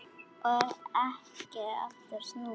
Og ekki aftur snúið.